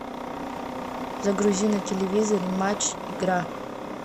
загрузи на телевизоре матч игра